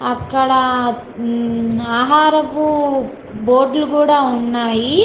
అక్కడ ఆహారపు బోట్లు కూడా ఉన్నాయి.